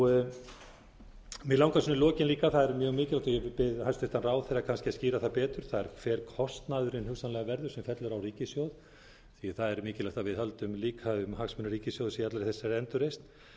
mig langar svona í lokin líka það er mjög mikilvægt og ég bið hæstvirtan ráðherra kannski að skýra það betur hver kostnaðurinn hugsanlega verður sem fellur á ríkissjóð því það er mikilvægt að við höldum líka um hagsmuni ríkissjóðs í allri þessari endurreisn